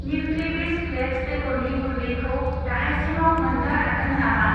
न्युट्रिविस फ्लेक्स बेगरनि गुन्दैखौ दाहायसिमाव मोन्नो हागोन नामा?